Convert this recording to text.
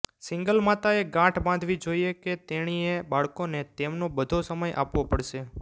single માતાએ ગાંઠ બાંધવી જોઈએ કે તેણીએ બાળકોને તેમનો બધો સમય આપવો પડશે